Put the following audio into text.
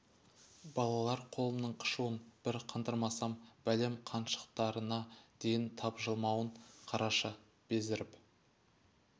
балалар қолымның қышуын бір қандырмасам бәлем қаншықтарына дейін тапжылмауын қарашы безеріп